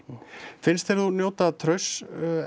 finnst þér þú njóta trausts